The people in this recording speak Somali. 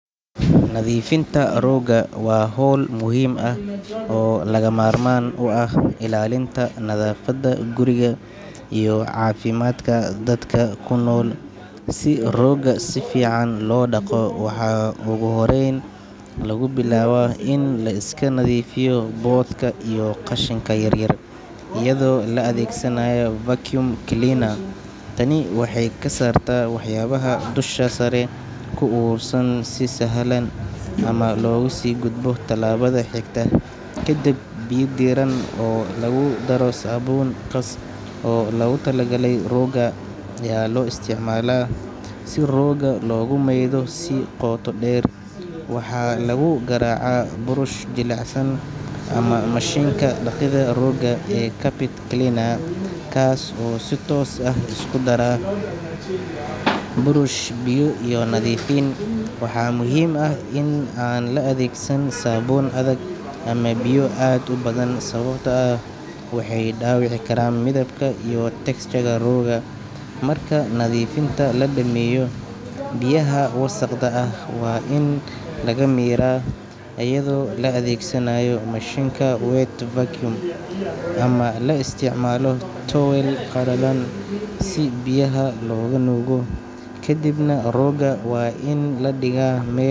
Nadiifinta rooga waa hawl muhiim ah oo lagama maarmaan u ah ilaalinta nadaafadda guriga iyo caafimaadka dadka ku nool. Si roogga si fiican loo dhaqo, waxaa ugu horreyn lagu bilaabaa in la iska nadiifiyo boodhka iyo qashinka yaryar iyadoo la adeegsanayo vacuum cleaner. Tani waxay ka saartaa waxyaabaha dusha sare ku urursan, si sahal ahna loogu sii gudbo tallaabada xigta. Kadib, biyo diirran oo lagu daray saabuun khaas ah oo loogu talagalay roogga ayaa loo isticmaalaa si roogga loogu maydho si qoto dheer. Waxa lagu garaacaa burush jilicsan ama mashiinka dhaqida roogga ee carpet cleaner, kaas oo si toos ah u isku dara burush, biyo iyo nadiifin. Waxaa muhiim ah in aan la adeegsan saabuun adag ama biyo aad u badan, sababtoo ah waxay dhaawici karaan midabka iyo texture-ka roogga. Marka nadiifinta la dhameeyo, biyaha wasakhda ah waa in laga miiraa iyadoo la adeegsanayo mashiinka wet vacuum ama la isticmaalo tuwaal qalalan si biyaha looga nuugo. Kadibna roogga waa in la dhigaa meel.